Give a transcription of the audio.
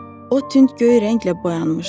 O tünd göy rənglə boyanmışdı.